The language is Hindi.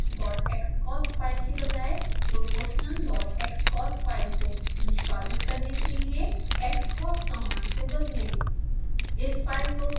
steptestxcos फाइल के बजाए proportionalxcos फाइल को निष्पादित करने के लिए xcos कमांड को बदलें